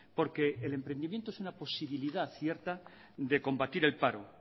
porque el emprendimiento es una posibilidad cierta de combatir el paro